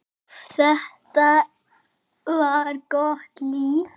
Þetta var gott líf.